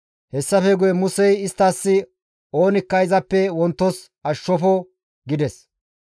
Hessafe guye Musey isttas, «Oonikka izappe wontos ashshofo» gides.